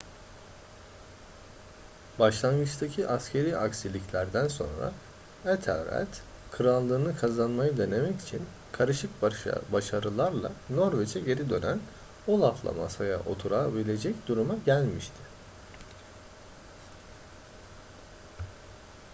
başlangıçtaki askeri aksiliklerden sonra ethelred krallığını kazanmayı denemek için karışık başarılarla norveç'e geri dönen olaf'la masaya oturabilecek duruma gelmişti